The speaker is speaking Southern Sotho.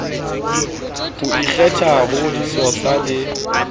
ho ikgetha ho disosa le